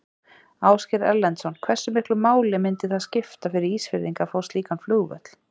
Ásgeir Erlendsson: Hversu miklu máli myndi það skipta fyrir Ísfirðingar að fá slíkan flugvöll?